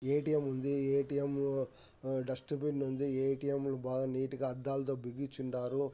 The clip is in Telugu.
ఎ. టి. ఎమ్ ఉంది. ఎ. టి. ఎమ్ డెస్టబిన్ ఉంది. ఎ. టి. ఎమ్ లొ బాగా నీటిగా అద్దాలతొ బిగించి ఉన్నారు.